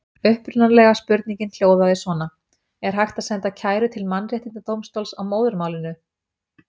Upprunalega spurningin hljóðaði svona: Er hægt að senda kæru til mannréttindadómstóla á móðurmálinu?